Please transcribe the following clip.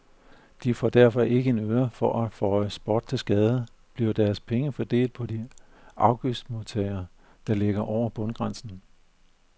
De får derfor ikke en øre og for at føje spot til skade, bliver deres penge fordelt på de afgiftsmodtagere, der ligger over bundgrænsen.